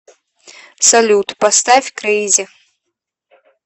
салют поставь крэйзи